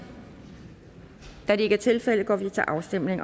da det ikke er tilfældet går vi til afstemning